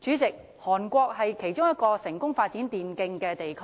主席，韓國是其中一個成功發展電競的地區，